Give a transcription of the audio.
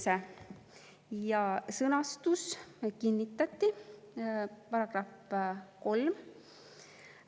Selle sõnastus kinnitati: "§ 3.